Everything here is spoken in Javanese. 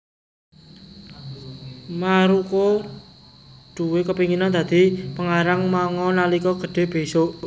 Maruko duwé kepinginan dadi pengarang manga nalika gedhe besok